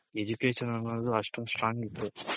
Education ಅನ್ನೋದು ಅಷ್ಟೊಂದ್ Strong ಇತ್ತು.